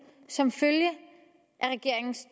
som følge af regeringens